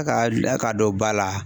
ka dɔn ba la.